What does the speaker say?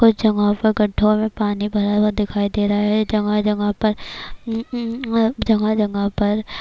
کچھ جگہو پر گدھھو مے پانی بھرا ہوا دکھائی دے رہا ہے۔ جگہ جگہ پر جگہ جگہ پر--